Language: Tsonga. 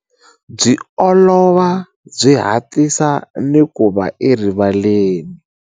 Byi olova, byi hatlisa ni ku va erivaleni.